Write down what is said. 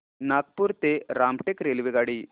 नागपूर ते रामटेक रेल्वेगाडी